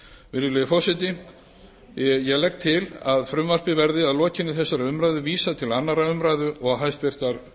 virðulegi forseti ég legg til að frumvarpið verði að lokinni þessari umræðu vísað til annarrar umræðu og háttvirtrar